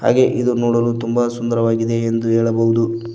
ಹಾಗೆ ಇದು ನೋಡಲು ತುಂಬ ಸುಂದರವಾಗಿದೆ ಎಂದು ಹೇಳಬಹುದು.